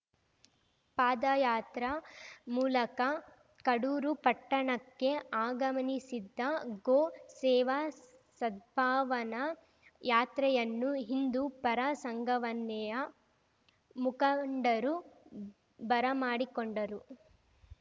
ಪಾದಯಾತ್ರ ಮೂಲಕ ಕಡೂರು ಪಟ್ಟಣಕ್ಕೆ ಆಗಮನಿಸಿದ್ದ ಗೋ ಸೇವಾ ಸದ್ಭಾವನಾ ಯಾತ್ರೆಯನ್ನು ಹಿಂದೂ ಪರ ಸಂಘವನ್ನೆಯ ಮುಖಂಡರು ಬರಮಾಡಿಕೊಂಡರು